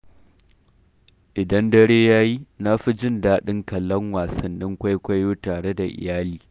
Idan dare ya yi, na fi jin daɗin kallon wasannin kwaikwayo tare da iyali.